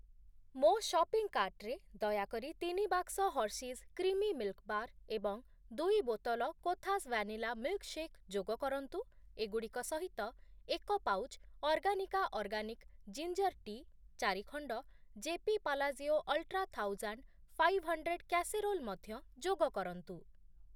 ମୋ ସପିଂ କାର୍ଟ୍‌ରେ ଦୟାକରି ତିନି ବାକ୍ସ ହର୍ଷିଜ୍ କ୍ରିମି ମିଲ୍‌କ୍‌ ବାର୍‌ ଏବଂ ଦୁଇ ବୋତଲ କୋଥାସ୍‌ ଭ୍ୟାନିଲା ମିଲ୍‌କ୍‌ଶେକ୍‌ ଯୋଗ କରନ୍ତୁ। ଏଗୁଡ଼ିକ ସହିତ, ଏକ ପାଉଚ୍‌ ଅର୍ଗାନିକା ଅର୍ଗାନିକ୍ ଜିଞ୍ଜର୍ ଟି, ଚାରି ଖଣ୍ଡ JP Palazzio ultra thousand five hundred casserole ମଧ୍ୟ ଯୋଗ କରନ୍ତୁ।